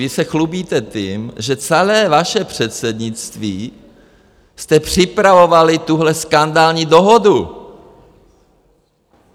Vy se chlubíte tím, že celé vaše předsednictví jste připravovali tuhle skandální dohodu!